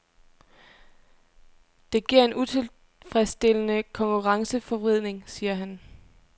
Det giver en utilfredsstillende konkurrenceforvridning, siger han.